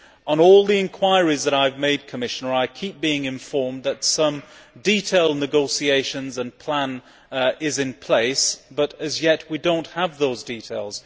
On all the enquiries that I have made, Commissioner, I keep being informed that some detailed negotiations and plans are in place but, as yet, we do not have those details.